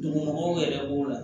Dugumɔgɔw yɛrɛ b'o la